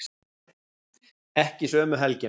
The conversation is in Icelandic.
Ekki sömu helgina.